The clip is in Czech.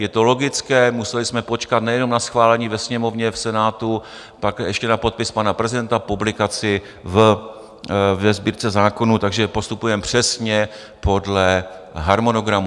Je to logické, museli jsme počkat nejenom na schválení ve Sněmovně, v Senátu, pak ještě na podpis pana prezidenta, publikaci ve Sbírce zákonů, takže postupujeme přesně podle harmonogramu.